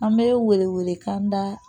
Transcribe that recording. An bɛ wele wele kan da